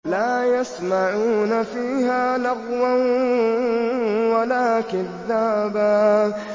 لَّا يَسْمَعُونَ فِيهَا لَغْوًا وَلَا كِذَّابًا